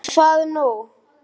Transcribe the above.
En hvað nú?